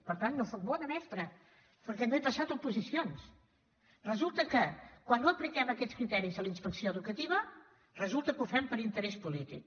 per tant no sóc bona mestra perquè no he passat oposicions resulta que quan no apliquem aquests criteris a la inspecció educativa ho fem per interès polític